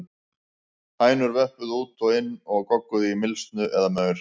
Hænur vöppuðu út og inn og gogguðu í mylsnu eða maur.